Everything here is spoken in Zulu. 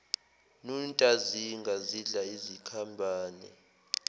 nontazinga zidla izikhambane